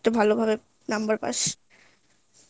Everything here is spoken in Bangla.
ভালো ভাবে number পাস